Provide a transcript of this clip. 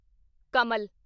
ਕਮਲ